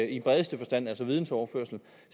i bredeste forstand altså videnoverførsel